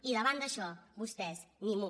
i davant d’això vostès ni mu